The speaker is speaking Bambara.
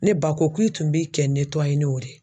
Ne ba ko ku i tun b'i kɛ n'o de